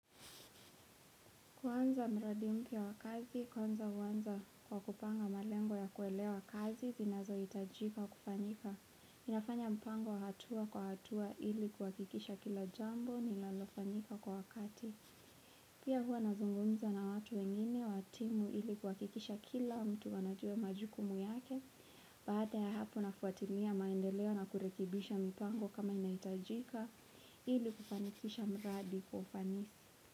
Kwanza mradi mpia wakazi, kwanza uwanza kwa kupanga malengo ya kuelewa kazi, zinazo itajika kufanyika. Inafanya mpango hatua kwa hatua ili kuhakikisha kila jambo ni linanolifanyika kwa wakati. Pia hua nazungumza na watu wengine watimu ili kuhakikisha kila mtu wanajua majukumu yake, baada ya hapo nafuatimia maendeleo na kurekibisha mpango kama inaitajika ili kufanikisha mradi kwaufanisi.